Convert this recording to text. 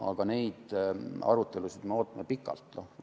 Aga neid arutelusid me oleme pikalt oodanud.